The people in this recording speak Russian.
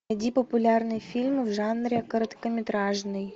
найди популярные фильмы в жанре короткометражный